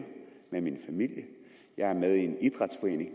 med min familie jeg er med i en idrætsforening